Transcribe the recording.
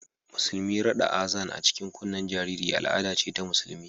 Musulmi rada Azan a cikin kunnen jariri al'ada ce ta Musulunci